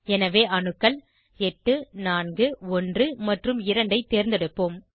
எனவே அணுக்கள் 8 41 மற்றும் 2 ஐ தேர்ந்தெடுப்போம்